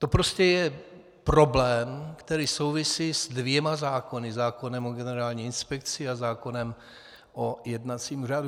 To prostě je problém, který souvisí s dvěma zákony - zákonem o Generální inspekci a zákonem o jednacím řádu.